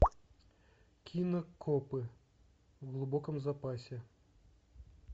кино копы в глубоком запасе